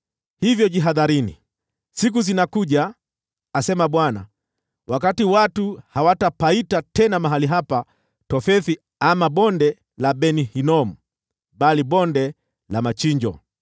Hivyo jihadharini, siku zinakuja, asema Bwana , wakati watu hawatapaita tena mahali hapa Tofethi ama Bonde la Ben-Hinomu, bali Bonde la Machinjo.